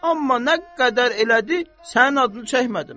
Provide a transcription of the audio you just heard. Amma nə qədər elədi, sənin adını çəkmədim.